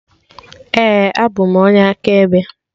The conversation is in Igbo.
Ee, abụ m onye akaebe